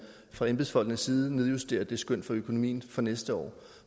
fra embedsfolkenes side nedjusterer det skøn for økonomien for næste år